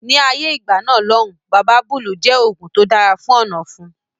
Ni ayé ìgbà náà lòun Baba Búlù jẹ oògùn tó dára fún ọ̀nà ọ̀fun